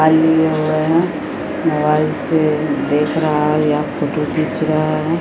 लिए हुए है मोबाइल से देख रहा है या फोटो खिच रहा है।